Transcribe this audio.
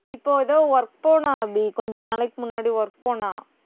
இப்போ ஏதோ work போனா அபி கொஞ்ச நாளைக்கு முன்னாடி work போனா